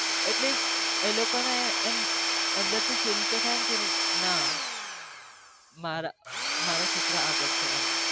એટલે એ લોકો ને એમ થાય ક મારા છોકરા કરી શકે છે